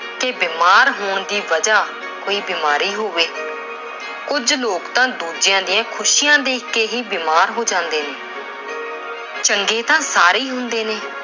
ਕਿ ਬੀਮਾਰ ਹੋਣ ਦੀ ਵਜ੍ਹਾ ਕੋਈ ਬੀਮਾਰੀ ਹੋਵੇ। ਕੁਝ ਲੋਕ ਤਾਂ ਦੂਜੇ ਦੀਆਂ ਖੁਸ਼ੀਆਂ ਦੇਖ ਕੇ ਹੀ ਬੀਮਾਰ ਹੋ ਜਾਂਦੇ ਨੇ। ਚੰਗੇ ਤਾਂ ਸਾਰੇ ਹੀ ਹੁੰਦੇ ਨੇ।